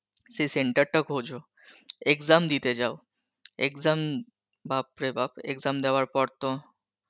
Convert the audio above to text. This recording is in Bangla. সেই center টা খোঁজো, exam দিতে যাও, exam বাপ রে বাপ exam দেওয়ার পর তো